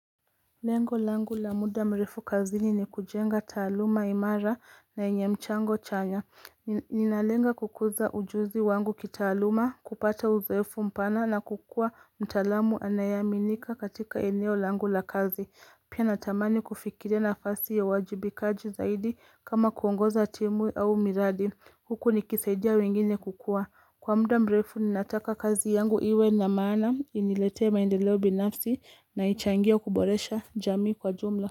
Lengo langu la muda mrefu kazi ni ni kujenga taluma imara na yenye mchango chanya. Ninalenga kukuza ujuzi wangu kita aluma, kupata uzoefu mpana na kukua mtalamu anayaminika katika eneo langu la kazi. Pia natamani kufikiria nafasi ya uwajibikaji zaidi kama kuongoza timu au miradi. Huku ni kisaidia wengine kukua. Kwa muda mbrefu ninataka kazi yangu iwe na mana inilete maendeleo binafsi na ichangia kuboresha jamii kwa jumla.